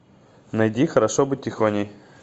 найди хорошо быть тихоней